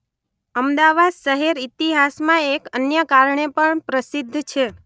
અમદાવાદ શહેર ઇતિહાસમા એક અન્ય કારણે પણ પ્રસિદ્ધ છે